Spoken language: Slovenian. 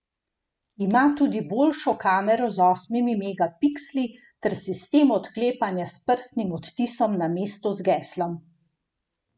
Ima tudi boljšo kamero z osmimi megapiksli ter sistem odklepanja s prstnim odtisom namesto z geslom.